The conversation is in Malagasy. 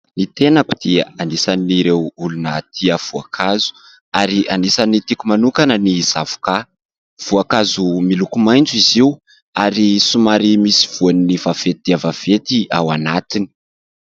Ny tenako dia anisan'ireo olona tia voankazo ary anisan'ny tiako manokana ny zavoka, voankazo miloko maitso izy io ary somary misy voan'ny vaventy dia vaventy ao anatiny.